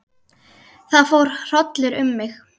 Það fór hrollur um mig.